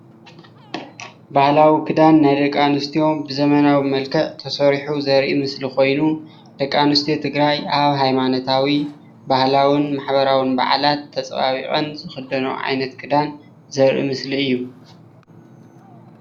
ባህላዊ ክዳን ናይ ደቂ ኣንስትዮ ብዘበናዊ መልክዕ ተሰሪሑ ዘርኢ ምስሊ ኮይኑ ደቂ ኣንስትዮ ትግራይ ኣብ ሃይማኖታዊ፣ ባህላውን ማሕበራውን በዓላት ተፀባቢቀን ዝክደንኦ ዓይነት ክዳን ዘርኢ ምስሊ እዩ